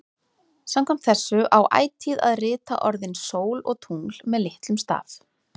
Samkvæmt þessu á ætíð að rita orðin sól og tungl með litlum staf.